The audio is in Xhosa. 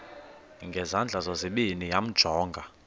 ngezandla zozibini yamjonga